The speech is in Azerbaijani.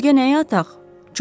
Özgə nəyə ataq?